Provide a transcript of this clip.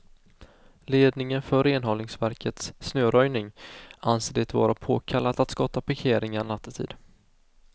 Ledningen för renhållningsverkets snöröjning anser det vara påkallat att skotta parkeringar nattetid.